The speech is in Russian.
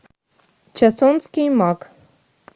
чосонский маг